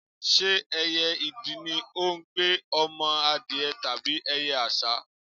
Ṣé ẹyẹ idì ní ó gbé ọmọ adìẹ tàbí ẹyẹ àṣá?